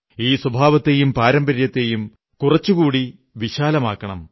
ഈ സ്വഭാവത്തെയും പാരമ്പര്യത്തെയും കുറച്ചുകൂടി വിശാലമാക്കണം